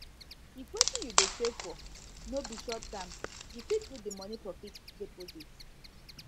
if wetin you dey save for no be short term you fit put di money for fixed deposit